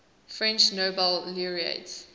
french nobel laureates